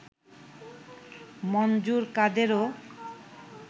মনজুর কাদেরও